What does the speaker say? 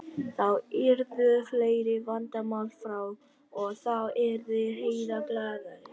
Þá yrðu fleiri vandamál frá og þá yrði Heiða glaðari.